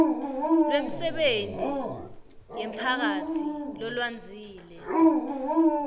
lwemisebenti yemphakatsi lolwandzile